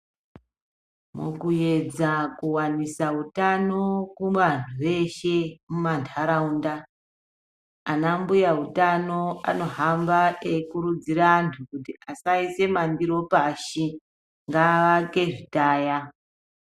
Mukuedza kuwanisa utano kuvanhu veshe mumantaraunda ana mbuya utano anohamba eikurudzire antu kuti asaise mandiro pashi ngaake zvitaya.